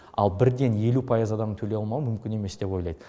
ал бірден елу пайыз адамның төлей алмауы мүмкін емес деп ойлайды